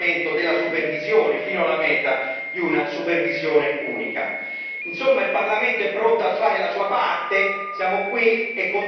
della tassazione e, naturalmente, la sfida di andare verso il rafforzamento della supervisione fino alla meta di una supervisione unica.